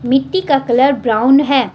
मिट्टी का colour brown है।